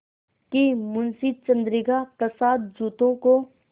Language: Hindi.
कि मुंशी चंद्रिका प्रसाद जूतों को